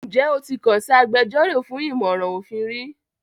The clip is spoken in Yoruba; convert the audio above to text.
Ǹjẹ́ o ti kàn sí agbẹjọ́rò fún ìmọ̀ràn òfin rí?